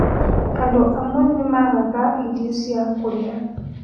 Andũ amwe nĩmagaga irio cia kũrĩa